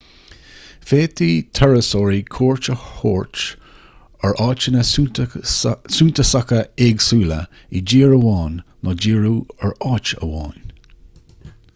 féadfaidh turasóirí cuairt a thabhairt ar áiteanna suntasacha éagsúla i dtír amháin nó díriú ar áit amháin